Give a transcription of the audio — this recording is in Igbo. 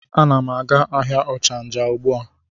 A na m aga ahịa ochanja ugbua.